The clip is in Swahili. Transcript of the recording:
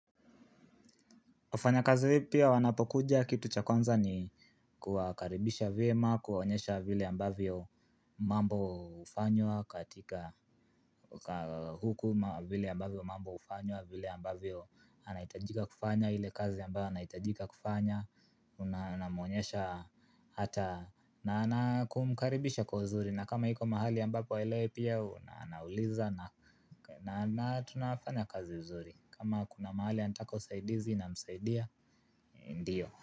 Wafanya kazi pia wanapokuja kitu cha kwanza ni kuwakaribisha vyema kuwaonyesha vile ambavyo mambo hufanywa katika huku ma vile ambavyo mambo hufanywa vile ambavyo anaitajika kufanya hile kazi ambayo anaitajika kufanya unamuonyesha hata na anakumkaribisha kwa uzuri na kama hiko mahali ambapo haelewi pia unauliza na tunafanya kazi uzuri kama kuna mahali anataka usaidizi na msaidia ndio.